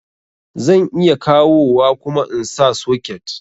Zan iya kawowa kuma insa socket